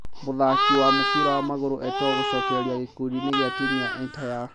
Mũthaki wa mũbĩra wa magũrũ Eto'o gũcokereria gĩkundi-inĩ gĩa timũ ya Antalyaspor